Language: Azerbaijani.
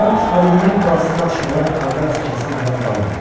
Mont Valerien qalasında atışmalar ardı arası kəsilmədən davam edirdi.